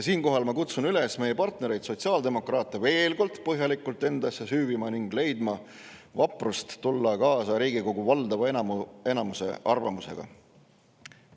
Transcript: Siinkohal kutsun ma üles meie partnereid sotsiaaldemokraate veel kord põhjalikult endasse süüvima ning leidma vaprust, et tulla kaasa Riigikogu valdava enamuse arvamusega.